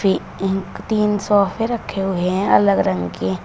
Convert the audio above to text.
ये एक तीन सोफे रखे हुए हैं अलग अलग रंग के।